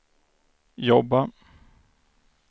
jobba